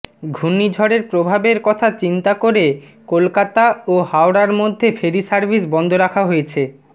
ঘূর্ণিঝড়ের প্রভাবের কাথ চিন্তা করে কলকাতা ও হাওড়ার মধ্যে ফেরি সার্ভিস বন্ধ রাখা হয়েছে